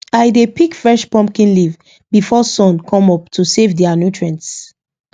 i dey pick fresh pumpkin leaf before sun come up to save their nutrients